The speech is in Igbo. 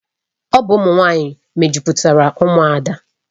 Ọ bụ ụmụ nwanyị mejupụtara Umuada.